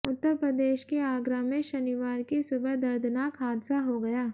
उत्तर प्रदेश के आगरा में शनिवार की सुबह दर्दनाक हादसा हो गया